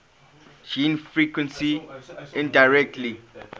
gene frequency indirectly